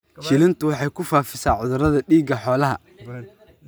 Shillintu waxay ku faafisaa cudurrada dhiigga xoolaha.